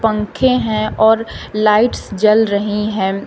पंखे हैं और लाइट्स जल रही हैं।